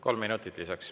Kolm minutit lisaks.